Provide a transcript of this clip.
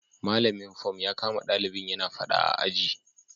Malamin fom ya kama dalibin yana fada a aji